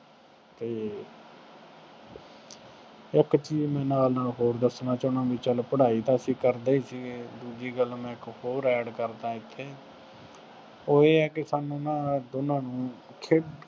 ਅਤੇ ਇੱਕ ਚੀਜ਼ ਮੈਂ ਨਾਲ ਨਾਲ ਹੋਰ ਦੱਸਣਾ ਚਾਹੁੰਦਾ ਬਈ ਚੱਲ ਪੜ੍ਹਾਈ ਤਾਂ ਅਸੀਂ ਕਰਦੇ ਹੀ ਸੀਗੇ, ਦੂਜੀ ਗੱਲ ਮੈਂ ਇੱਕ ਹੋਰ add ਕਰ ਦਿਆਂ ਇੱਥੇ ਉਹ ਇਹ ਹੈ ਕਿ ਸਾਨੂੰ ਨਾ ਦੋਨਾਂ ਨੂੰ ਖੇਡ